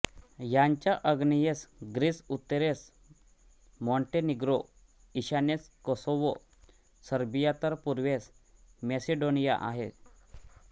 याच्या आग्नेयेस ग्रीस उत्तरेस मॉंटेनिग्रो ईशान्येस कोसोव्हो सर्बिया तर पूर्वेस मॅसिडोनिया आहे